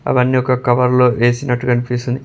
అవన్నీ ఒక కవర్లో ఎసినట్టు కనిపిస్తుంది.